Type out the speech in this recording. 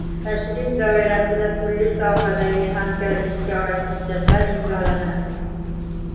Tashrif doirasida turli sohalardagi hamkorlikka oid hujjatlar imzolanadi.